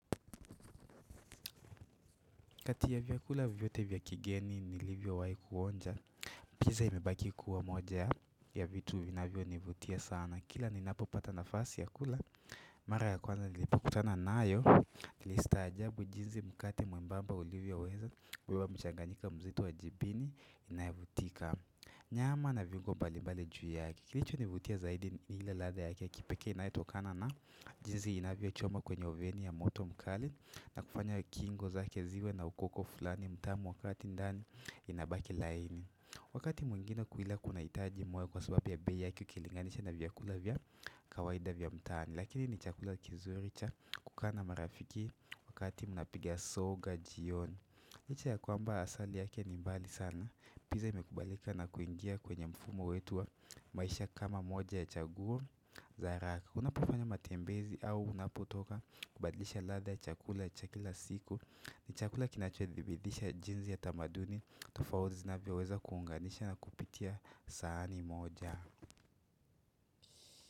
Kati ya vyakula vyote vya kigeni nilivyo wahi kuonja Pizza imebaki kuwa moja ya vitu vinavyo nivutia sana Kila ninapopata nafasi ya kula Mara ya kwanza nilipokutana nayo nilistajabu jinzi mkate mwembamba ulivyoweza kubeba mchanganyika mzito wa jibi inayavutika Nyama na viungo mbalimbali juu yake Kilichonivutia zaidi ni ile ladha ya kipekee inayetokana na jinzi inavyochomwa kwenye oveni ya moto mkali na kufanya ukingo zake ziwe na ukoko fulani mtamu wa kati ndani inabaki laini Wakati mwengine kuila kunahitaji moyo kwa sababu ya bei yake ukilinganisha na vyakula vya kawaida vya mtaani Lakini ni chakula kizuri cha kukaa na marafiki wakati munapiga soga jioni Licha ya kwamba asali yake ni mbali sana Pizza imekubalika na kuingia kwenye mfumo wetu wa maisha kama moja ya chaguo za haraka. Unapofanya matembezi au unapotoka kubadlisha ladha ya chakula ya cha kila siku ni chakula kinachodhibidisha jinzi ya tamaduni Tofaozi zinavyoweza kuunganisha na kupitia saani moja.